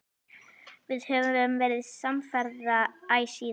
Við höfum verið samferða æ síðan.